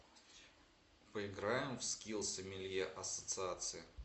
поиграем в скилл сомелье ассоциации